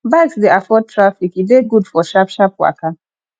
bikes de afford traffic e de good for sharp sharp waka